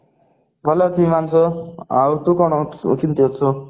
ଭଲ ଅଛି ଆଉ ତୁ କଣ ତୁ କେମତି ଅଛୁ